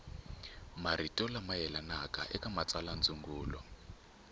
marito lama yelanaka eka matsalwandzungulo